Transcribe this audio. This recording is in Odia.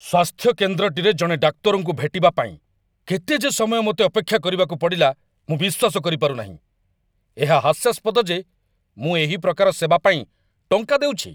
ସ୍ୱାସ୍ଥ୍ୟ କେନ୍ଦ୍ରଟିରେ ଜଣେ ଡାକ୍ତରଙ୍କୁ ଭେଟିବା ପାଇଁ କେତେ ଯେ ସମୟ ମୋତେ ଅପେକ୍ଷା କରିବାକୁ ପଡ଼ିଲା, ମୁଁ ବିଶ୍ୱାସ କରିପାରୁନାହିଁ! ଏହା ହାସ୍ୟାସ୍ପଦ ଯେ ମୁଁ ଏହି ପ୍ରକାର ସେବା ପାଇଁ ଟଙ୍କା ଦେଉଛି।